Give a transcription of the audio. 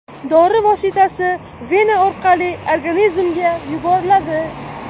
Dori vositasi vena orqali organizmga yuboriladi.